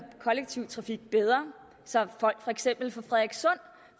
kollektive trafik bedre så for eksempel folk